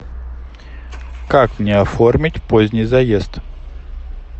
как мне оформить поздний заезд